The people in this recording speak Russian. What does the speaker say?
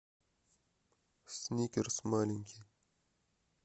сникерс маленький